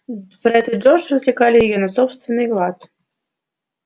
фред и джордж развлекали её на собственный лад